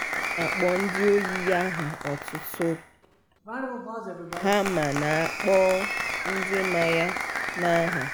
ọ na-akpọ ndị ọyị ya aha otutu ha ma na-akpọ ndị ma ya n'aha ha.